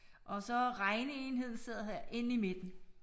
Og så regneenheden sidder her inde i midten